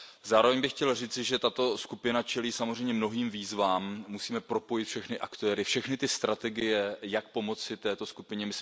Zároveň bych chtěl říci, že tato skupina čelí samozřejmě novým výzvám, musíme propojit všechny aktéry a strategie, jak pomoci této skupině.